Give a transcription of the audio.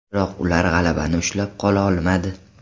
Biroq ular g‘alabani ushla qola olmadi.